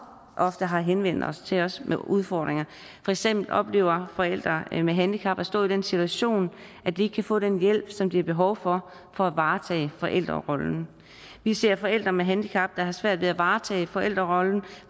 ofte har henvendt sig til os med udfordringer for eksempel oplever forældre med handicap at stå i den situation at de ikke kan få den hjælp som de har behov for for at varetage forældrerollen vi ser forældre med handicap der har svært ved at varetage forældrerollen